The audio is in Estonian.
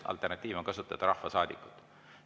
Alternatiiv on kasutada sõna "rahvasaadikud".